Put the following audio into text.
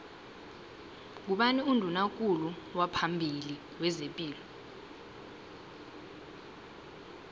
ngubani unduna kulu waphambili wezepilo